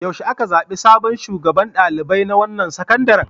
Yaushe aka zaɓi sabon shugaban ɗalibai na wannan sakandaren?